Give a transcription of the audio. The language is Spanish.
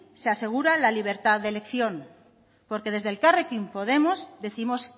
se asegura la libertad de elección porque desde elkarrekin podemos décimos